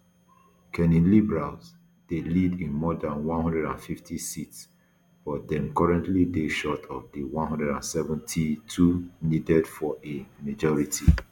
carney liberals dey lead in more dan one hundred and fifty seats but dem currently dey short of di one hundred and seventy-two needed for a majority